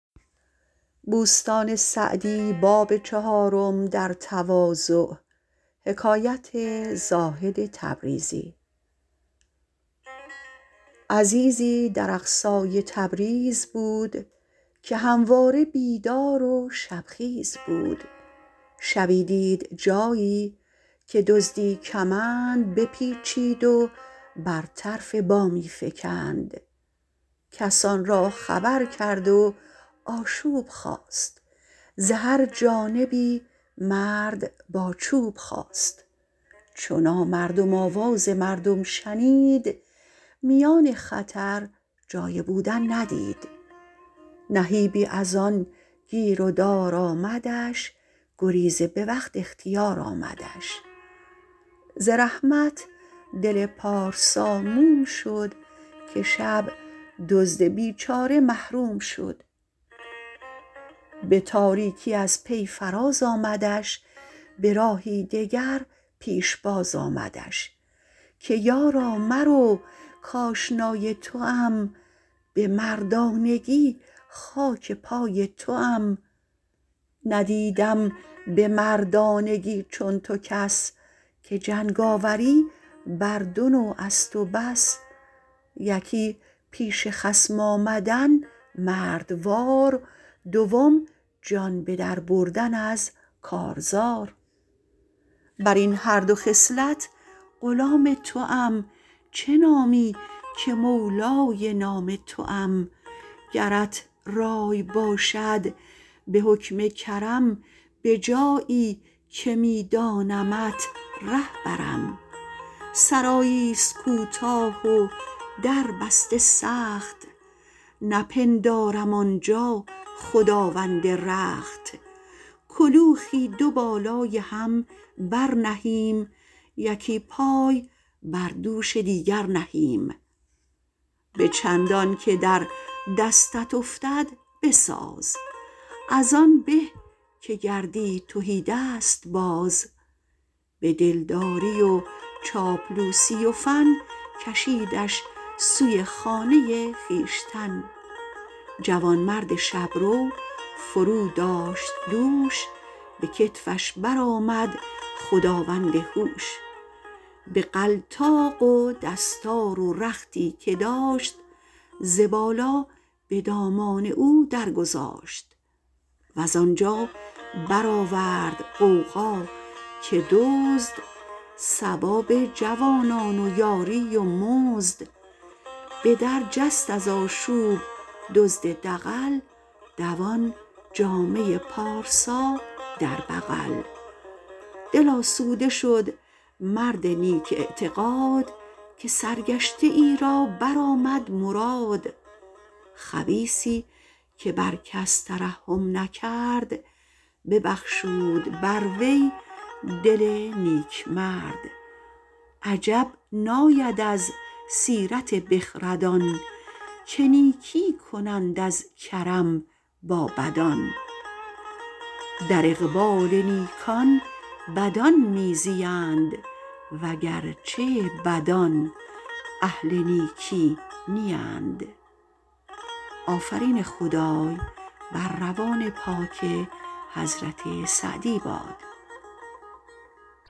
عزیزی در اقصای تبریز بود که همواره بیدار و شب خیز بود شبی دید جایی که دزدی کمند بپیچید و بر طرف بامی فکند کسان را خبر کرد و آشوب خاست ز هر جانبی مرد با چوب خاست چو نامردم آواز مردم شنید میان خطر جای بودن ندید نهیبی از آن گیر و دار آمدش گریز به وقت اختیار آمدش ز رحمت دل پارسا موم شد که شب دزد بیچاره محروم شد به تاریکی از پی فراز آمدش به راهی دگر پیشباز آمدش که یارا مرو کآشنای توام به مردانگی خاک پای توام ندیدم به مردانگی چون تو کس که جنگاوری بر دو نوع است و بس یکی پیش خصم آمدن مردوار دوم جان به در بردن از کارزار بر این هر دو خصلت غلام توام چه نامی که مولای نام توام گرت رای باشد به حکم کرم به جایی که می دانمت ره برم سرایی است کوتاه و در بسته سخت نپندارم آنجا خداوند رخت کلوخی دو بالای هم بر نهیم یکی پای بر دوش دیگر نهیم به چندان که در دستت افتد بساز از آن به که گردی تهیدست باز به دل داری و چاپلوسی و فن کشیدش سوی خانه خویشتن جوانمرد شبرو فرو داشت دوش به کتفش برآمد خداوند هوش بغلطاق و دستار و رختی که داشت ز بالا به دامان او در گذاشت وز آنجا برآورد غوغا که دزد ثواب ای جوانان و یاری و مزد به در جست از آشوب دزد دغل دوان جامه پارسا در بغل دل آسوده شد مرد نیک اعتقاد که سرگشته ای را برآمد مراد خبیثی که بر کس ترحم نکرد ببخشود بر وی دل نیکمرد عجب ناید از سیرت بخردان که نیکی کنند از کرم با بدان در اقبال نیکان بدان می زیند وگرچه بدان اهل نیکی نیند